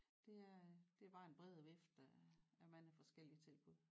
Det er det er bare en bredere vifte af af mange forskellige tilbud